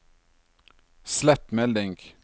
slett melding